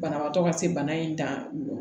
Banabaatɔ ka se bana in dan don